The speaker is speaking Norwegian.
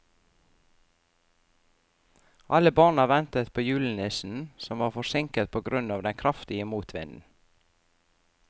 Alle barna ventet på julenissen, som var forsinket på grunn av den kraftige motvinden.